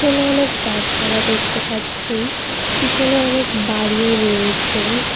এখানে অনেক গাছপালা দেখতে পাচ্ছি পিছনে অনেক বাড়িও রয়েছে।